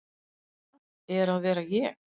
Hvað er að vera ég?